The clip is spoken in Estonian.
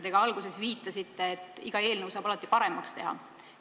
Te ka alguses viitasite, et iga eelnõu saab alati paremaks teha.